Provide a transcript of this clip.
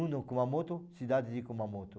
Uma no Kumamoto, cidade de Kumamoto.